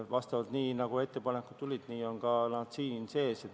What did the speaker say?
Vastavalt sellele, nagu ettepanekud tulid, on nad ka siin sees.